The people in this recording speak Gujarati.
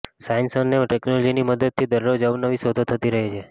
સાયન્સ અને ટેક્નોલોજીની મદદથી દરરોજ અવનવી શોધો થતી રહે છે